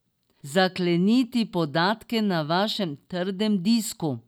Zakleniti podatke na vašem trdem disku.